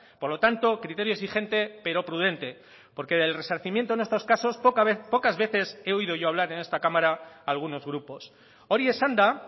por lo tanto criterios y gente pero prudente porque del resarcimiento en estos casos pocas veces he oído yo hablar en esta cámara a algunos grupos hori esanda